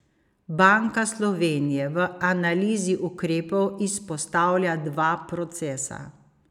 Banka Slovenije v analizi ukrepov izpostavlja dva procesa.